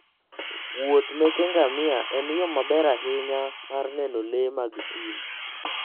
Wuoth meke ngamia en yo maber ahinya mar neno le mag thim.